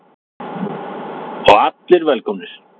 Og allir velkomnir?